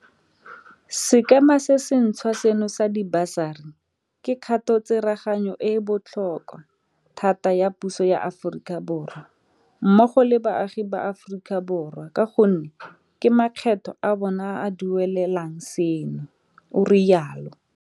Sekema se se ntšhwa seno sa dibasari ke kgatotsereganyo e e botlhokwa thata ya puso ya Aforika Borwa, mmogo le baagi ba Aforika Borwa ka gonne ke makgetho a bona a a duelelang seno, o rialo.